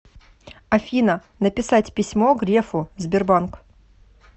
афина написать письмо грефу сбербанк